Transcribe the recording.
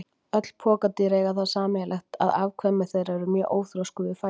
Öll pokadýr eiga það sameiginlegt að afkvæmi þeirra eru mjög óþroskuð við fæðingu.